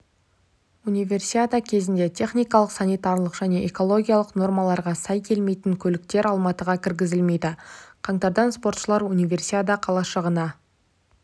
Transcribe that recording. универсиада кезінде техникалық санитарлық және экологиялық нормаларға сай келмейтін көліктер алматыға кіргізілмейді қаңтардан спортшылар универсиада қалашығына